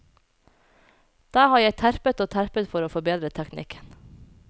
Der har jeg terpet og terpet for å forbedre teknikken.